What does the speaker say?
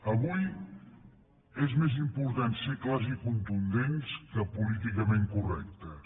avui és més important ser clars i contundents que políticament correctes